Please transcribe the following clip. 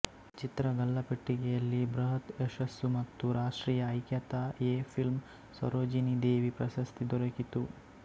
ಚಿತ್ರ ಗಲ್ಲಾಪೆಟ್ಟಿಗೆಯಲ್ಲಿ ಬೃಹತ್ ಯಶಸ್ಸು ಮತ್ತು ರಾಷ್ಟ್ರೀಯ ಐಕ್ಯತಾ ಎ ಫಿಲ್ಮ್ ಸರೋಜಿನಿ ದೇವಿ ಪ್ರಶಸ್ತಿ ದೋರಕಿತ್ತು